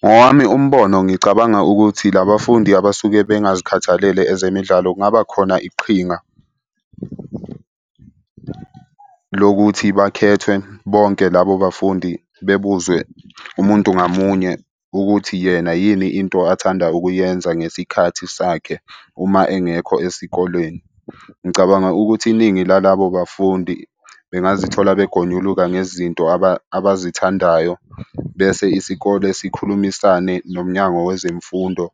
Ngowami umbono ngicabanga ukuthi la bafundi abasuke bengazikhathalela ezemidlalo kungaba khona iqhinga lokuthi bakhethwe bonke labo bafundi bebuzwe umuntu ngamunye ukuthi yena yini into athanda ukuyenza ngesikhathi sakhe uma engekho esikoleni. Ngicabanga ukuthi iningi lalabo bafundi bengazitholi begonyuluka ngezinto abazithandayo bese isikole sikhulumisane nomnyango wezemfundo